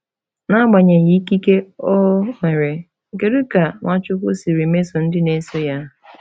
N’agbanyeghị ikike o nwere, kedu ka Nwachukwu siri mesoo ndị na-eso ya?